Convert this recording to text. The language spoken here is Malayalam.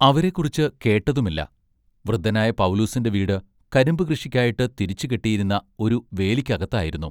അവരെക്കുറിച്ച് കേട്ടതുമില്ല. വൃദ്ധനായ പൗലൂസിന്റെ വീട് കരിമ്പു കൃഷിക്കായിട്ട് തിരിച്ചു കെട്ടിയിരുന്ന ഒരു വേലിക്കകത്തായിരുന്നു.